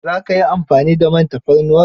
Za ka yi amfani da man tafarnuwar?